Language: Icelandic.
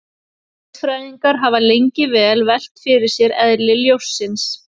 Eðlisfræðingar hafa lengi velt fyrir sér eðli ljóss.